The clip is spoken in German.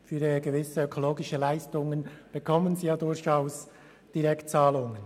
Für gewisse ökologische Leistungen erhalten sie durchaus Direktzahlungen.